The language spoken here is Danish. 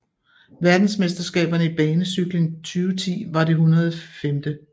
Verdensmesterskaberne i banecykling 2010 var det 105